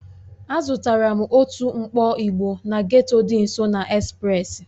Azụtara m otu mkpọ ịgbo na getto dị nso na express